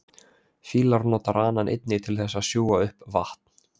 fílar nota ranann einnig til þess að sjúga upp vatn